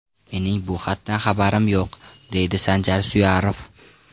Mening bu xatdan xabarim yo‘q, deydi Sanjar Suyarov.